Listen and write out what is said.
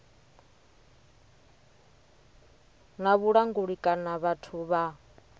na vhulanguli kana vhathu vha